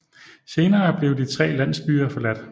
Senere blev de tre landsbyer forladt